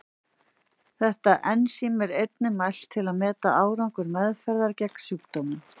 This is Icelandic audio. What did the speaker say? Þetta ensím er einnig mælt til að meta árangur meðferðar gegn sjúkdómnum.